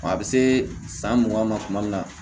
A bɛ se san mugan ma tuma min na